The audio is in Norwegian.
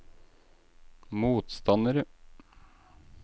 motstandere